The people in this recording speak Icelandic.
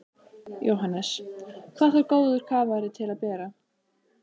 Jóhannes: Hvað þarf góður kafari til að bera?